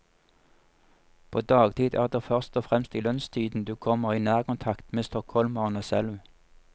På dagtid er det først og fremst i lunsjtiden du kommer i nærkontakt med stockholmerne selv.